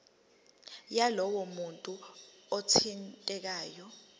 yalowo muntu othintekayo